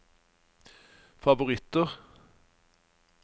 favoritter